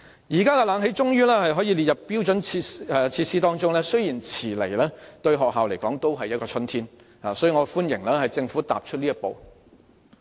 現在空調設備終可列為標準設施，雖然遲來了，但對學校而言仍是春天，所以我歡迎政府踏出這一步。